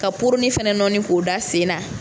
Ka poronin fɛnɛ nɔɔni k'o da sen na.